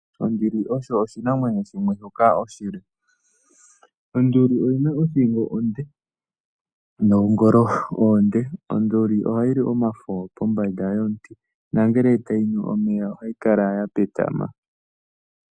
Onduli osho oshinamwenyo shimwe shoka oshile. Onduli oyina othingo onde noongolo oonde. Onduli ohayi li omafo pombanda yomuti nangele tayi nu omeya ohayi kala ya petama.